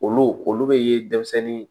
Olu olu be denmisɛnnin